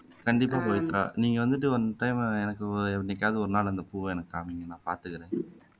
கண்டிப்பா பவித்ரா நீங்க வந்துட்டு one time எனக்கு என்னைக்காவது ஒரு நாள் அந்த பூவை எனக்கு காமிங்க நான் பாத்துக்கிறேன்